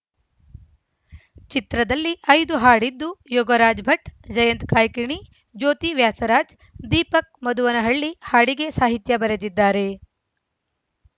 ಚಿತ್ರದಲ್ಲಿ ಐದು ಹಾಡಿದ್ದು ಯೋಗರಾಜ್‌ ಭಟ್‌ ಜಯಂತ್‌ ಕಾಯ್ಕಿಣಿ ಜ್ಯೋತಿ ವ್ಯಾಸರಾಜ್‌ ದೀಪಕ್‌ ಮಧುವನಹಳ್ಳಿ ಹಾಡಿಗೆ ಸಾಹಿತ್ಯ ಬರೆದಿದ್ದಾರೆ